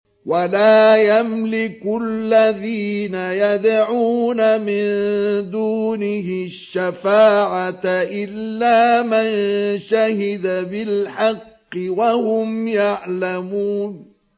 وَلَا يَمْلِكُ الَّذِينَ يَدْعُونَ مِن دُونِهِ الشَّفَاعَةَ إِلَّا مَن شَهِدَ بِالْحَقِّ وَهُمْ يَعْلَمُونَ